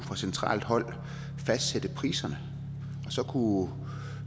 fra centralt hold kunne fastsætte priserne